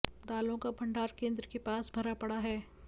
दालों का भंडार केंद्र के पास भरा पड़ा है